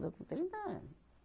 Casou com trinta ano.